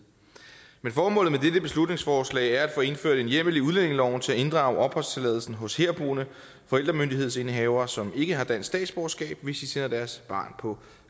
men formålet med dette beslutningsforslag er at få indført en hjemmel i udlændingeloven til at inddrage opholdstilladelsen hos herboende forældremyndighedsindehavere som ikke har dansk statsborgerskab hvis de sender deres barn på